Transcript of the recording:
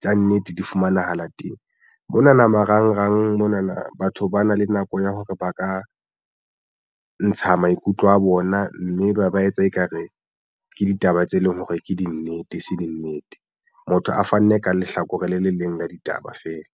tsa nnete di fumanahala teng mona marangrang mona na batho ba na le nako ya hore ba ka ntsha maikutlo a bona mme ba etsa ekare ke ditaba tse leng hore ke dinnete e se dinnete motho a fanne ka lehlakore le le leng la ditaba feela.